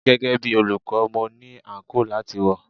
Gẹ́gẹ́ bí olùkọ́, mo ní àǹkóò láti wọ̀.